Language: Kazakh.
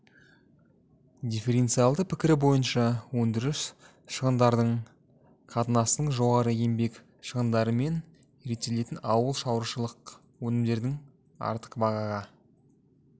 дифференциалды пікірі бойынша өндіріс шығындарының қатынасының жоғары еңбек шығындарымен реттелетін ауыл шаруашылық өнімдерінің артық бағаға